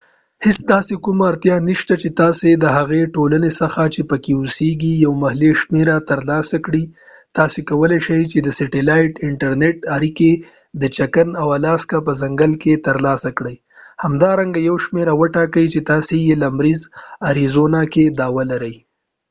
هیڅ داسې کومه اړتیا نشته چې تاسې د هغې ټولنې څخه چې پکې اوسېږئ یو محلي شمېره ترلاسه کړئ تاسې کولې شئ چې د سټیلایټ انټرنیټي اړیکه د چکن او آلاسکا په ځنګل کې ترلاسه کړئ همدارنګه یو شمیره وټاکئ چې تاسې یې په لمریز اریزونا کې دعوه لرئ